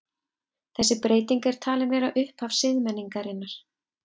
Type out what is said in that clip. Þessi breyting er talin vera upphaf siðmenningarinnar.